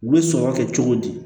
U bɛ sɔrɔ kɛ cogo di